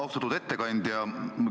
Austatud ettekandja!